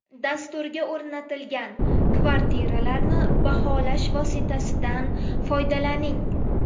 Dasturga o‘rnatilgan kvartiralarni baholash vositasidan foydalaning.